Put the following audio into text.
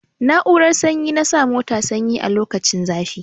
Na'urar sanyi na sa mota sanyi a lokacin zafi.